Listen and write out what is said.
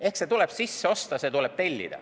Ehk see teenus tuleb sisse osta, see tuleb tellida.